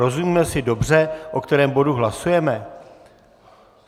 Rozumíme si dobře, o kterém bodu hlasujeme?